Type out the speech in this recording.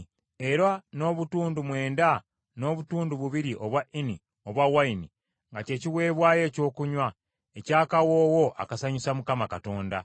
era n’obutundu mwenda n’obutundu bubiri obwa Ini obw’envinnyo nga kye kiweebwayo ekyokunywa, eky’akawoowo akasanyusa Mukama Katonda.